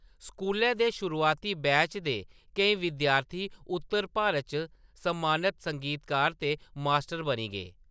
स्कूलै दे शुरुआती बैच दे केईं विद्यार्थी उत्तर भारत च सम्मानत संगीतकार ते मास्टर बनी गे।